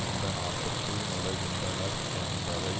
இந்நாட்டுக்குள் நுழைகின்றனர் என்பதை